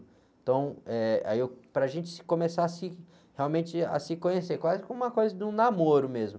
Então, eh, aí eu, para a gente se, começar a se, realmente a se conhecer, quase como uma coisa de um namoro mesmo.